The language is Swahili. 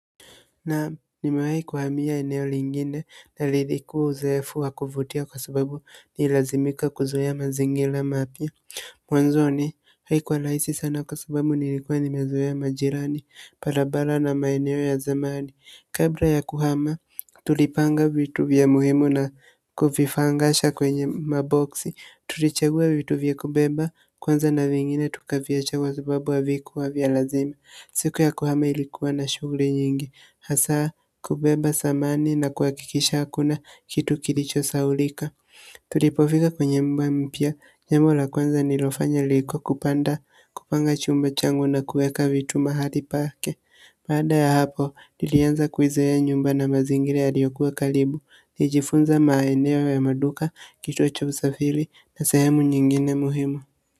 Naam nimewahi kuhamia eneo lingine na lilikuwa uzoefu wa kuvutia kwa sababu nililazimika kuzoea mazingira mapya mwanzoni haikuwa rahisi sana kwa sababu nilikuwa nimezoea majirani barabara na maeneo ya zamani kabla ya kuhama tulipanga vitu vya muhimu na kuvipangasha kwenye maboksi. Tulichagua vitu vya kubeba kwanza na vingine tukaviacha kwa sababu havikuwa vya lazima siku ya kuhama ilikuwa na shughuli nyingi hasa kubeba samani na kuhakikisha hakuna kitu kilichosahaulika tulipofika kwenye nyumba mpya, jambo la kwanza nililofanya ilikuwa kupanga chumba changu na kuweka vitu mahali pake baada ya hapo, nilianza kuizoea nyumba na mazingira yaliyokuwa karibu nilijifunza maeneo ya maduka, kituo cha usafiri na sehemu nyingine muhimu.